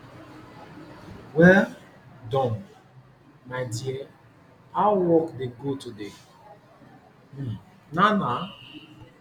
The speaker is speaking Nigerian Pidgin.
well Accepted my dear how work dey go today um na na